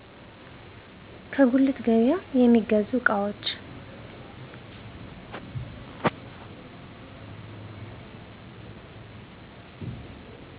ከጉልት ገቢያ የሚገዙ እቃዎች